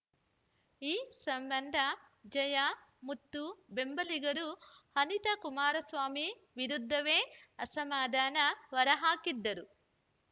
ಈ ಸಂಬಂಧ ಜಯಮುತ್ತು ಬೆಂಬಲಿಗರು ಅನಿತಾ ಕುಮಾರಸ್ವಾಮಿ ವಿರುದ್ಧವೇ ಅಸಮಾಧಾನ ಹೊರಹಾಕಿದ್ದರು